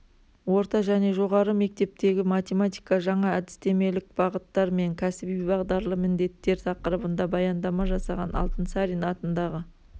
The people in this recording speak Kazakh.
орта және жоғары мектептегі математика жаңа әдістемелік бағыттар мен кәсіби бағдарлы міндеттер тақырыбында баяндама жасаған алтынсарин атындағы